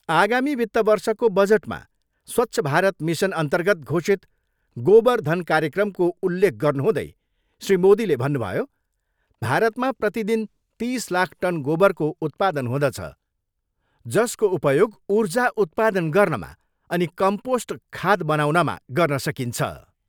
आगामी वित्त वर्षको बजटमा स्वच्छ भारत मिसन अन्तर्गत घोषित गोबर धन कार्यक्रमको उललेख गर्नुहुँदै श्री मोदीले भन्नुभयो, भारतमा प्रतिदिन तिस लाख टन गोबरको उत्पादन हुँदछ, जसको उपयोग ऊर्जा उत्पादन गर्नमा अनि कम्पोस्ट खाद्य बनाउनमा गर्न सकिन्छ।